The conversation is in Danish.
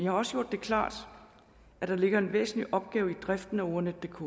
har også gjort det klart at der ligger en væsentlig opgave i driften af ordnetdk